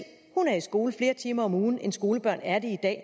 er i skole flere timer om ugen end skolebørn er det i dag